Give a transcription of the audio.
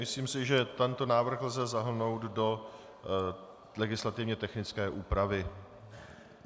Myslím si, že tento návrh lze zahrnout do legislativně technické úpravy.